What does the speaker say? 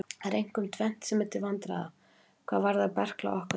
Það er einkum tvennt sem er til vandræða hvað varðar berkla á okkar tímum.